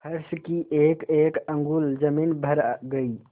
फर्श की एकएक अंगुल जमीन भर गयी